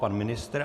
Pan ministr?